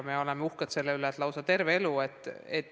Me oleme uhked selle üle, et nad õpivad lausa terve elu.